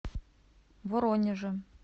воронежем